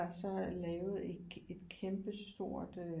Der så lavede et kæmpestort